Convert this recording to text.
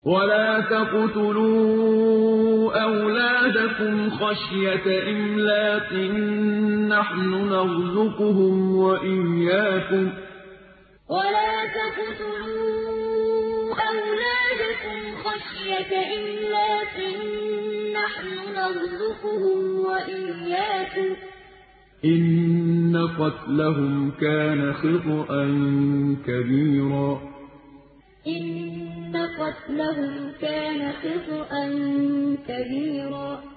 وَلَا تَقْتُلُوا أَوْلَادَكُمْ خَشْيَةَ إِمْلَاقٍ ۖ نَّحْنُ نَرْزُقُهُمْ وَإِيَّاكُمْ ۚ إِنَّ قَتْلَهُمْ كَانَ خِطْئًا كَبِيرًا وَلَا تَقْتُلُوا أَوْلَادَكُمْ خَشْيَةَ إِمْلَاقٍ ۖ نَّحْنُ نَرْزُقُهُمْ وَإِيَّاكُمْ ۚ إِنَّ قَتْلَهُمْ كَانَ خِطْئًا كَبِيرًا